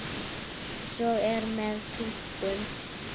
Eins er með túlkun.